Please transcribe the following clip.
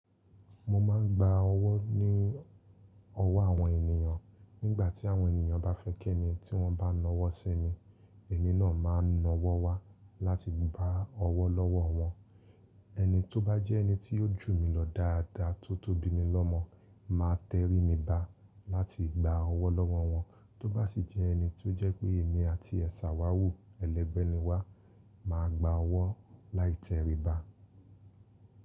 Mo máa ń gba ọwọ́ ní ọwọ́ àwọn ènìyàn nígbà tí àwọn ènìyàn bá fẹ́ kẹ́ mi tí wọ́n bá na ọwọ́ sí mi. Èmi náà máa naa ọwọ́ wá láti gba ọwọ́ lọ́wọ́ wọn. Ẹni tó bá jẹ́ ẹni tí óò jù mí lọ dáadáa tó tó bí mi lọ́mọ̀ máa tẹrí mi bá láti gba ọwọ́ lọ́wọ́ wọn. Tọ́ bá sì jẹ́ ẹni ti ó jẹ́ pé èmi àti ẹ̀ sà wa wù, ẹlẹgbẹ́ ni wá, màá gba ọwọ́ láì tẹrí ba.